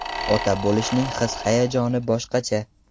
Ota bo‘lishning his-hayajoni boshqacha.